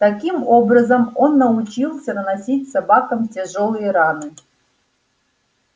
таким образом он научился наносить собакам тяжёлые раны